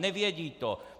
Nevědí to!